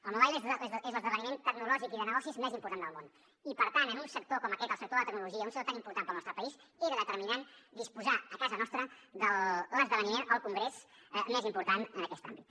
el mobile és l’esdeveniment tecnològic i de negocis més important del món i per tant en un sector com aquest el sector de la tecnologia un sector tan important per al nostre país era determinant disposar a casa nostra de l’esdeveniment el congrés més important en aquest àmbit